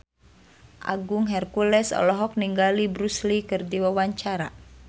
Agung Hercules olohok ningali Bruce Lee keur diwawancara